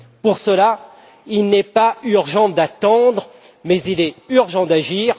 Pour cela, il n'est pas urgent d'attendre mais il est urgent d'agir.